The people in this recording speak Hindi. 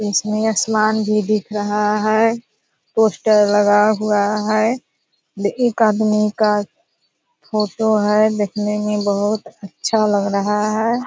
इसमें आसमान भी दिख रहा है पोस्टर लगा हुआ है एक आदमी का फोटो है देखने में बहुत अच्छा लग रहा है।